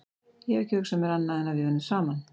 Ég hef ekki hugsað mér annað en að við yrðum saman.